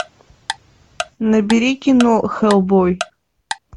набери кино хэллбой